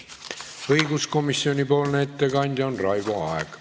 Õiguskomisjoni ettekandja on Raivo Aeg.